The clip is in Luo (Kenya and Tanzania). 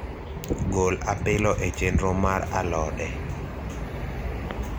gol apilo e chenro mar alode